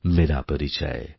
মেরাপরিচয়